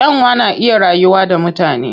Kyanwa na iya rayuwa da mutane.